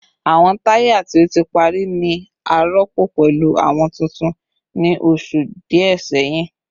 Awọn taya ti o ti pari ni a rọpo pẹlu awọn tuntun ni oṣu diẹ sẹhin